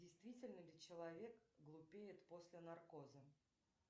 действительно ли человек глупеет после наркоза